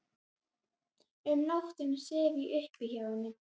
Um nóttina sef ég uppí hjá henni.